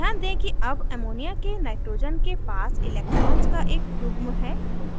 ध्यान दें कि अब ammonia के nitrogen के पास electrons का एक युग्म है